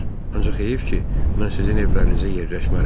Ancaq heyif ki, mən sizin evlərinizə yerləşmərəm.